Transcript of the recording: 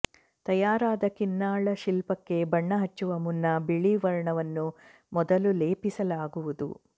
ತಯಾರಾದ ಕಿನ್ನಾಳ ಶಿಲ್ಪಕ್ಕೆ ಬಣ್ಣ ಹಚ್ಚುವ ಮುನ್ನ ಬಿಳಿ ವರ್ಣವನ್ನು ಮೊದಲು ಲೇಪಿಸಲಾಗುವುದು